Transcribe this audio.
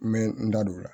N bɛ n da don o la